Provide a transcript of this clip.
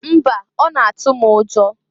Mba! Ọ na- atụ m ụjọ.